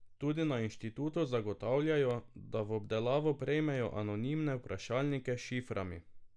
Tudi na inštitutu zagotavljajo, da v obdelavo prejmejo anonimne vprašalnike s šiframi.